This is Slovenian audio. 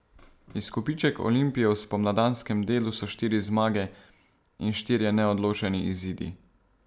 Izkupiček Olimpije v spomladanskem delu so štiri zmage in štirje neodločeni izidi.